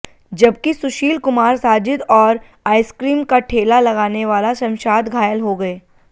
जबकि सुशील कुमार साजिद और आइसक्रीम का ठेला लगाने वाला शमशाद घायल हो गए